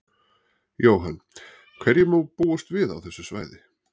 Jóhann: Hverju má búast við á þessu svæði?